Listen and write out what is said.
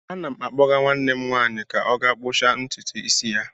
Ana m akpọga nwanne m nwanyị ka ọ gaa kpụcha ntutu isi ya.